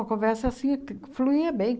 A conversa, assim, t fluía bem.